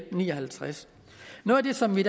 ni og halvtreds noget af det som vi